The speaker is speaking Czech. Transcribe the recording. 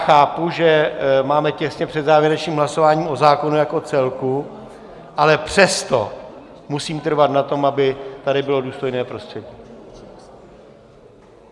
Chápu, že máme těsně před závěrečným hlasováním o zákonu jako celku, ale přesto musím trvat na tom, aby tady bylo důstojné prostředí.